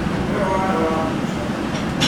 Nĩwe warĩ wa mũico.